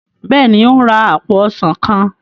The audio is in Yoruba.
béèni o n rà apo ọsán kán.